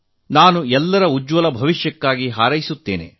ನಾನು ಅವರೆಲ್ಲರ ಭವಿಷ್ಯ ಉಜ್ವಲವಾಗಲಿ ಎಂದು ಹಾರೈಸುತ್ತೇನೆ